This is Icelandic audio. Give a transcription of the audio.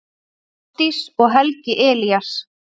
Ásdís og Helgi Elías.